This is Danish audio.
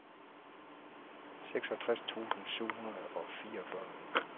seksogtres tusind syv hundrede og fireogfyrre